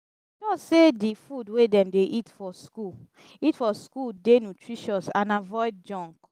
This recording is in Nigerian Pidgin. ensure sey di food wey dem dey eat for school eat for school dey nutritious and avoid junk